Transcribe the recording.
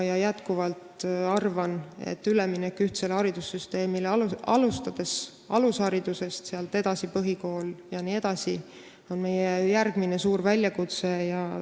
Ma jätkuvalt arvan, et üleminek ühtsele haridussüsteemile, alustades alusharidusest, sealt edasi põhikoolis jne, on meie järgmine suur väljakutse.